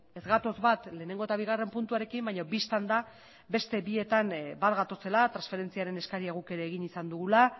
ez gatoz bat lehenengo eta bigarren puntuarekin baino bistan da bat gatozela transferentziaren eskaria guk ere egin izan dugula